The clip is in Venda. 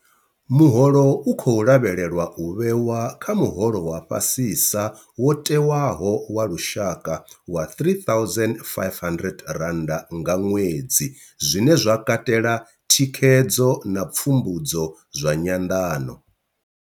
Muholo u khou lavhelelwa u vhewa kha muholo wa fhasisa wo tewaho wa lushaka wa R3 500 nga ṅwedzi, zwine zwa katela thikhedzo na pfumbudzo zwa nyanḓano.